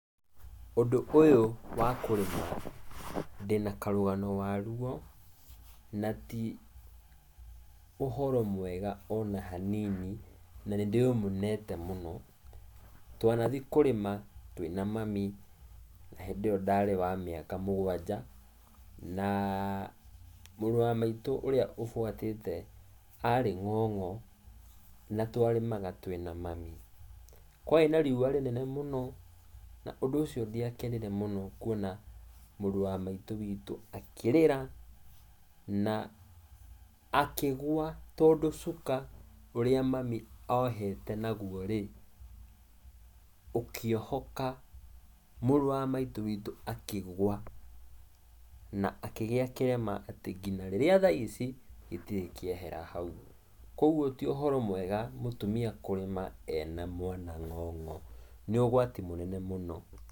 Ũndũ ũyũ, wa kũrĩma, ndĩna karũgano wa rũo, na ti, ũhoro mwega ona hanini, na nĩ ndĩũmenete mũno. Twanathi kũrĩma twĩna mami, na hĩndĩ ĩyo ndarĩ wa mĩaka mũgwanja, na, mũrũ wa maitũ ũrĩa ũbuatĩte, arĩ ng'ong'o, na tũarĩmaga twĩna mami. kwarĩ na riũa rĩnene mũno, na ũndũ ũcio ndiakenire mũno kũwona, mũrũ wa maitũ witũ akĩrĩra, na akĩgũa tondũ cuka ũrĩa mami ohete naguo-rĩ, ũkĩohoka mũrũ wa maitũ akigũa na akĩgĩa kĩrema atĩ kinya rĩrĩa thaa ici, gĩtirĩ kĩaehera hau. Kuoguo ti ũhoro mũega, mũtumia kũrĩma ena mwana ng'ong'o. Nĩ ũgũati mũnene mũno.